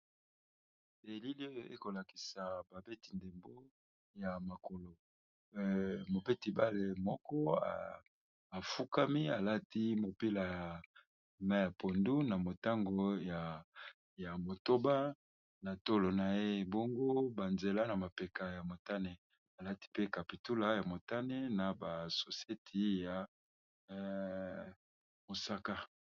Elili oyo ekolakisa babeti-ndembo ya makolo mopeti bale moko afukami alati mopila ya mayi ya pondu na motango ya motoba na tolo na ye ebongu banzela na mapeka ya motane alati pe capitula ya motane na ba soseti ya mosaka.